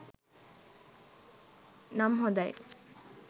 නම් හොඳයි.